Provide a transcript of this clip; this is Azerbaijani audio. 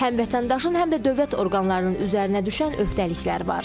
Həm vətəndaşın, həm də dövlət orqanlarının üzərinə düşən öhdəliklər var.